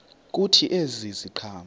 kuthi ezi ziqhamo